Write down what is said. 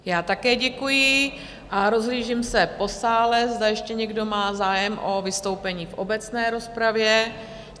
Já také děkuji a rozhlížím se po sále, zda ještě někdo má zájem o vystoupení v obecné rozpravě?